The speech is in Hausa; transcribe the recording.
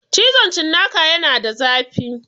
Cizon cinnaka yana da zafi